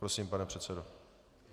Prosím, pane předsedo.